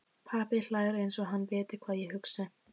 Pabbi hlær einsog hann viti hvað ég hugsa.